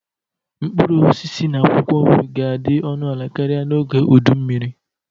Mkpụrụ osisi na akwụkwọ nri ga-adị ọnụ ala karịa n'oge udu mmiri.